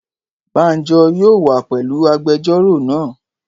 Bánjọ yóò wá pẹ̀lú agbẹjọ́rò náà